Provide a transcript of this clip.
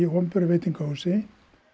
opinberu veitingahúsi